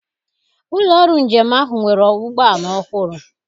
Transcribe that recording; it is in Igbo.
Ụlọ ọrụ njem ahụ nwere ụgbọala ọhụrụ.